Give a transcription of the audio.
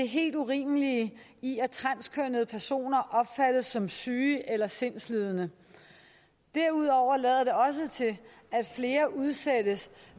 helt urimelige i at transkønnede personer opfattes som syge eller sindslidende derudover lader det også til at flere udsættes